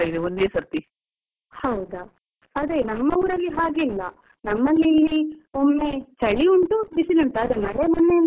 ಹೌದಾ, ಅದೇ ನಮ್ಮ ಊರಲ್ಲಿ ಹಾಗೆ ಇಲ್ಲ, ನಮ್ಮಲ್ಲಿ ಇಲ್ಲಿ ಒಮ್ಮೆ ಚಳಿ ಉಂಟು, ಬಿಸಿಲು ಉಂಟು ಆದ್ರೆ ಮಳೆ ಮೊನ್ನೆಯಿಂದ ಕಾಣುದಿಲ್ಲ.